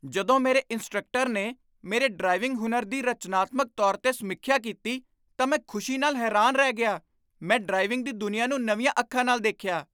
ਜਦੋਂ ਮੇਰੇ ਇੰਸਟ੍ਰਕਟਰ ਨੇ ਮੇਰੇ ਡਰਾਈਵਿੰਗ ਹੁਨਰ ਦੀ ਰਚਨਾਤਮਕ ਤੌਰ 'ਤੇ ਸਮੀਖਿਆ ਕੀਤੀ ਤਾਂ ਮੈਂ ਖੁਸ਼ੀ ਨਾਲ ਹੈਰਾਨ ਰਹਿ ਗਿਆ। ਮੈਂ ਡਰਾਈਵਿੰਗ ਦੀ ਦੁਨੀਆ ਨੂੰ ਨਵੀਆਂ ਅੱਖਾਂ ਨਾਲ ਦੇਖਿਆ।